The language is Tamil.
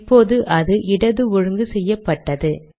இப்போது அது இடது ஒழுங்கு செய்யப்பட்டது